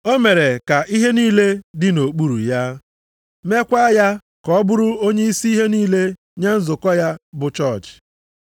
O mere ka ihe niile dị nʼokpuru ya, meekwa ya ka ọ bụrụ onyeisi ihe niile nye nzukọ ya bụ chọọchị.